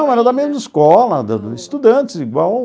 Era da mesma escola, da da estudantes igual...